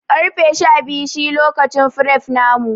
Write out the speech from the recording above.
Karfe Shabiyu shi lokacin fref namu.